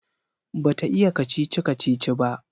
Bata iya kacici-kacici ba